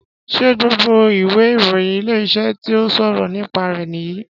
Ṣé gbogbo ìwé ìròyìn Ilé-iṣẹ́ tí ó ṣọ̀rọ̀ nípa rẹ̀ nìyí